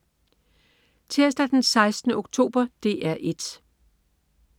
Tirsdag den 16. oktober - DR 1: